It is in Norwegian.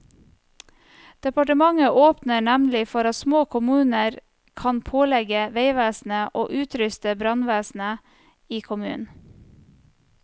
Departementet åpner nemlig for at små kommuner kan pålegge veivesenet å utruste brannvesenet i kommunen.